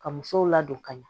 Ka musow ladon ka ɲɛ